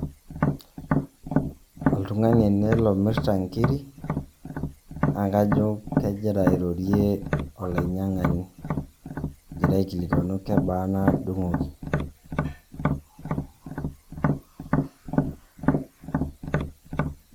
Oltung'ani ele lomirta nkirik, na kajo kegira airorie olainyang'ani, egira aikilikwanu kebaa naadung'oki.